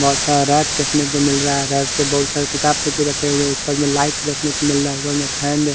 बोहोत सारा लाइट देखने को मिल रहा है राईट पे बोहोत सारे किताब भी रखे हुए है उपर में लाइट देखने को मिल रहा है वहा पे फेन है ।